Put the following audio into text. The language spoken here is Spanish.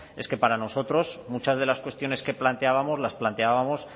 es que para nosotros muchas de las cuestiones que planteábamos las planteábamos